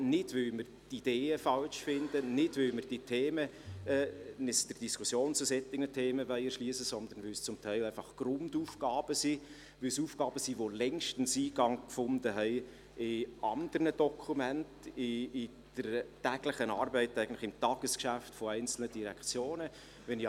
Wir tun dies nicht, weil wir die Ideen falsch finden oder weil uns der Diskussion über solche Themen verschliessen wollen, sondern weil es teilweise einfach Grundaufgaben sind, weil es Aufgaben sind, die längstens Eingang in andere Dokumente und ins Tagesgeschäft der einzelnen Direktionen gefunden haben.